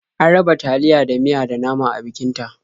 An raba taliya da miya da nama a bikin ta.